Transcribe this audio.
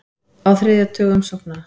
Á þriðja tug umsókna